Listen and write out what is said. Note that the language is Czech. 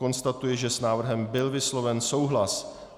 Konstatuji, že s návrhem byl vysloven souhlas.